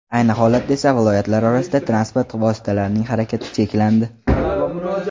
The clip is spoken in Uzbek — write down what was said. Ayni holatda esa viloyatlar orasida transport vositalarining harakati cheklandi.